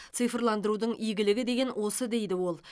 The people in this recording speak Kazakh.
цифрландырудың игілігі деген осы дейді ол